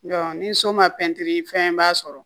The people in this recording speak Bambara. ni so ma pɛntiri fɛnba sɔrɔ